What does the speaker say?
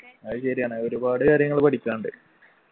അത് ശരിയാണ് ഒരുപാട് കാര്യങ്ങള് പഠിക്കാനുണ്ട്